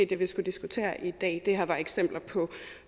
det vi skulle diskutere i dag det her var eksempler på